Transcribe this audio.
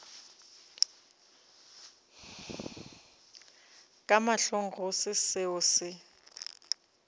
ka mahlong go se seo